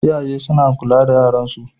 Iyaye suna kula da yaran su